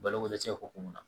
Baloko dɛsɛ hukumu kɔnɔ